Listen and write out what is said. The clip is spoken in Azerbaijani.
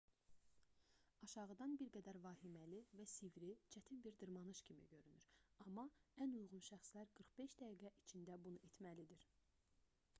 aşağıdan bir qədər vahiməli və sivri çətin bir dırmanış kimi görünür amma ən uyğun şəxslər 45 dəqiqə içində bunu etməlidir